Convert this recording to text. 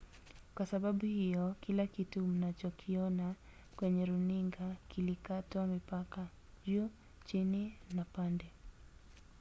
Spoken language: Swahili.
kwa sababu hiyo kila kitu mnachokiona kwenye runinga kilikatwa mipaka juu chini na pande